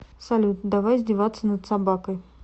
салют давай издеваться над собакой